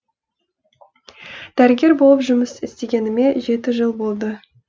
дәрігер болып жұмыс істегеніме жеті жыл болды